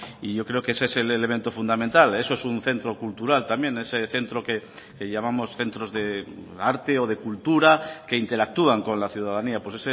y yo creo que ese es el elemento fundamental eso es un centro cultural también ese centro que llamamos centros de arte o de cultura que interactúan con la ciudadanía pues